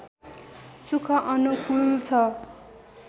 सुख अनुकूल छ